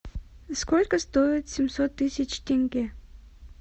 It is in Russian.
сколько стоит семьсот тысяч тенге